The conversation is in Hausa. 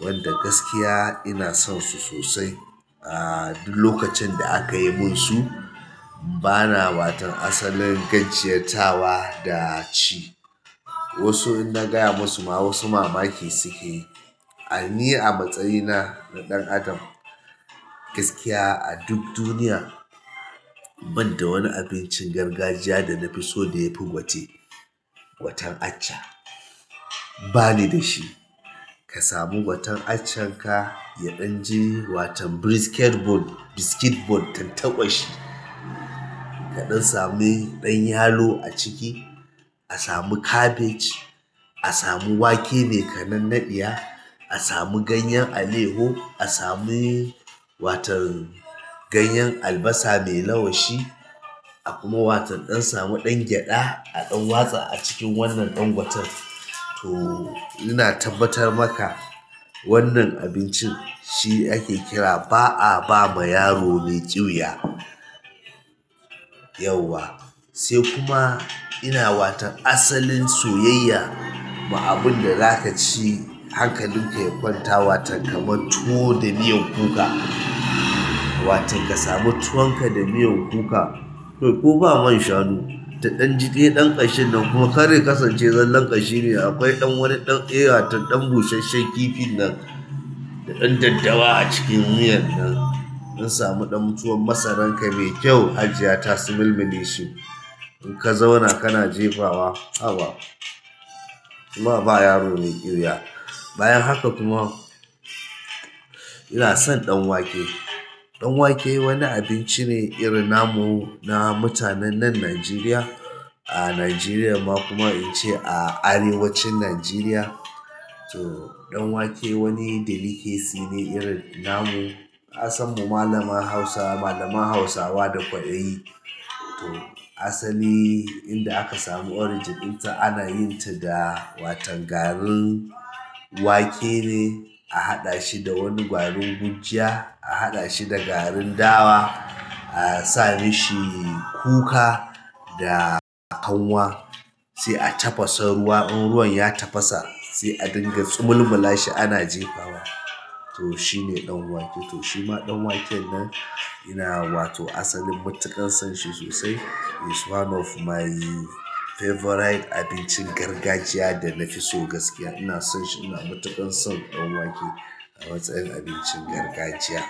wanda gaskiya ina son su sosai. Ahh duk lokacin da aka yi min su bana watan asalin ganjiyatawa da ci. Wasu in na gaya musu ma wasu mamaki suke yi. Ni a matsayina na dan adam, gaskiya a duk duniya, ban da wani abincin gargajiya da na fi so da ya fi gwate, gwaten acca. Ba ni da shi. Ka samu gwaten accan ka, ya ɗan ji watan brisket bone, biscuit bone tantaƙwashi. Kaɗan same ɗan yalo a ciki, a samu cabbage, a samu wake mai kanannadiyya, a samu ganyen aleho, a sami watan ganyen albasa mai lawashi a kuma watan ɗan samu ɗan gyada a ɗan watsa a cikin wannan ɗan gwaten. To ina tabbatar maka wannan abincin shi ake kira "ba a ba ma yaro mai ƙyuya" yauwa. Sai kuma ina watan asalin soyayya, ma abin da za ka ci hankalinka ya kwanta watan kamar tuwo da miyan kuka. Watan ka sami tuwon ka da miyan kuka. To ko ba man shanu, ta ɗan ji de ɗan ƙashin nan kuma karya kasance zallon ƙashi ne akwai ɗan wani ɗan eya tan ɗan bushesshen kifin nan da ɗan daddawa a cikin miyan nan. In samu ɗan tuwon masaran ka mai kyau, hajiya ta sumulmuleshi. In ka zauna kana jefawa, haba. Kuma ba yaro mai ƙyuya. Bayan haka kuma ina son ɗan wake. Dan wake wani abinci ne irin namu na mutanen nan Nigeria. A Nigeriar ma kuma in ce a arewacin Nigeria. To ɗan wake wani delicacy ne irin namu. Kasan mu malaman Hausa, malaman Hausawa da kwaɗayi. To asali inda aka samu origin din ta, ana yin ta da watan garin wake ne a haɗa shi da wani garin gurjiya, a haɗa shi da garin dawa, a sa mishi kuka da a kanwa. Sai a tafasa ruwa, in ruwan ya tafasa sai a dinga tsumulmula shi ana jefawa. To shi ne ɗan wake. To shi ma ɗan waken nan ina wato asalin matuƙan son shi sosai. He is one of my favourite abincin gargajiya da na fi so gaskiya. Ina son shi, ina matuƙan son ɗan wake a matsayin abincin gargajiya.